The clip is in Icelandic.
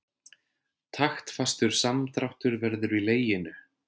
Taktfastur samdráttur verður í leginu.